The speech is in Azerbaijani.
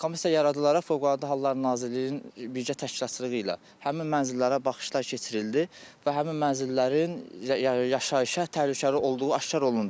Komissiya yaradılaraq Fövqəladə Hallar Nazirliyinin birgə təşkilatçılığı ilə həmin mənzillərə baxışlar keçirildi və həmin mənzillərin yaşayışa təhlükəli olduğu aşkar olundu.